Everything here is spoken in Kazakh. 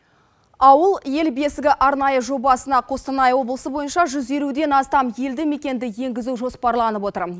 ауыл ел бесігі арнайы жобасына қостанай облысы бойынша жүз елуден астам елдімекенді енгізу жоспарланып отыр